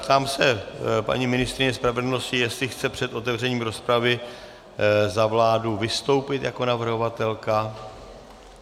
Ptám se paní ministryně spravedlnosti, jestli chce před otevřením rozpravy za vládu vystoupit jako navrhovatelka.